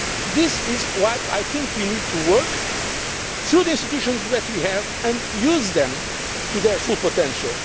This is why I think we need to work through the institutions that we have and use them to their full potential.